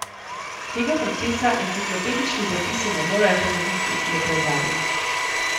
Tega procesa enciklopedični zapisi ne morejo ponuditi, je poudaril.